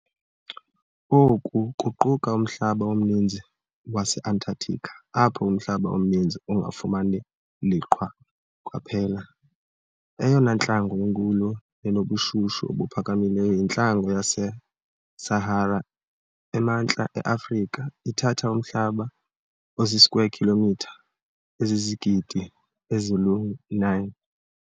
Oko kuquka umhlaba omninzi waseAntarctica, apho umhlaba omninzi ungafumani liqhwa kwaphela. Eyona ntlango inkulu nenobushushu obuphakamileyo yintlango yaseSahara, emantla eAfrica, ithatha umhlaba ozii square kilomitha ezizizigidi ezilu-9.